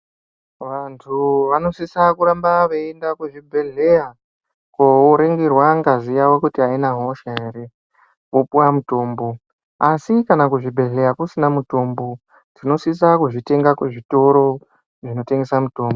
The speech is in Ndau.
Vantu vanosisa kuramba veienda kuzvibhedhleya koringirwa kuti ngazi yawo aina hosha ere vopuwa mutombo asi kana kuzvibhedhleya kusina mutombo tinosisa kuzvitenga kuzvitoro zvinotengesa mutombo.